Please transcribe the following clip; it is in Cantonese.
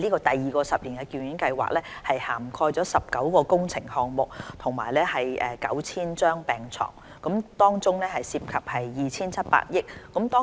第二個十年醫院發展計劃將涵蓋19個工程項目、提供 9,000 張病床，涉及約 2,700 億元。